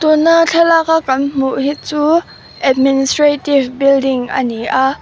tuna thlalak a kan hmuh hi chu administrative building ani a--